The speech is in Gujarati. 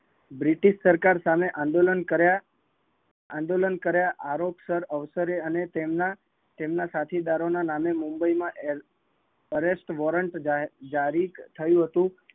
બ્રિટિશ સરકાર સામે આંદોલન, આંદોલન કર્યા આરોગ્ય ઓફિસર અને તેમના સાથિદાર ના નામે મુંબઈ માં arrest warrant જારી થયું હતું